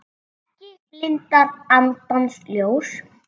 Ekki blindar andans ljós